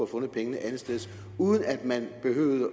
fundet pengene andetsteds uden at man behøvede at